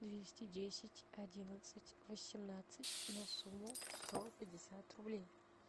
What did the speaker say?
двести десять одиннадцать восемнадцать на сумму сто пятьдесят рублей